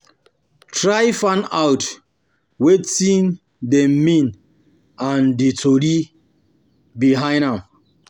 Try find out um wetin dem um means and di story behind am